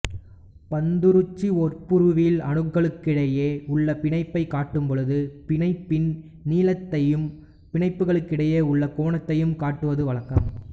பந்துருகுச்சி ஒப்புருவில் அணுக்களுக்கிடையே உள்ள பிணைப்பைக் காட்டும் பொழுது பிணைப்பின் நீளத்தையும் பிணைப்புகளுக்கிடையே உள்ள கோணத்தையும் காட்டுவது வழக்கம்